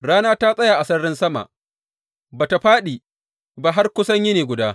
Rana ta tsaya a sararin sama, ba tă fāɗi ba har kusan yini guda.